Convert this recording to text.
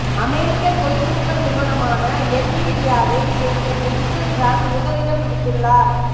அமெரிக்க தொழில்நுட்ப நிறுவனமான என்விடியாவை சேர்ந்த ஜென்சன் ஹாங் முதலிடம் பிடித்துள்ளார்